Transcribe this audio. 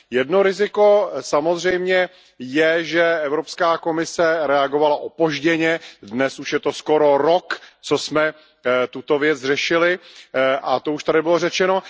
Jedno riziko samozřejmě je, že Evropská komise reagovala opožděně. Dnes už je to skoro rok, co jsme tuto věc řešili, a to už tady bylo řečeno.